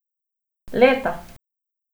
Leta!